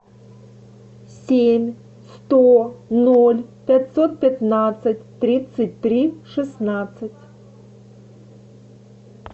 семь сто ноль пятьсот пятнадцать тридцать три шестнадцать